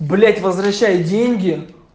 блять возвращают деньги